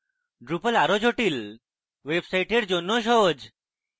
drupal আরো জটিল websites জন্যও সহজ